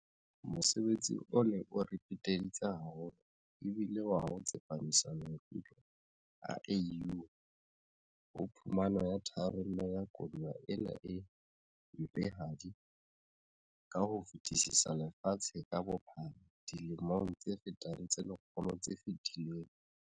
Mosebetsi o neng o re peteditse haholo e bile wa ho tsepamisa maikutlo a AU ho phumano ya tharollo ya koduwa ena e mpehadi ka ho fetisisa lefatshe ka bophara dilemong tse fetang tse lekgolo tse fetileng.